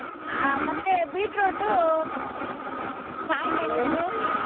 ಹಾ ಮತ್ತೆ beetroot, ಕಾಯಿಮೆಣಸು.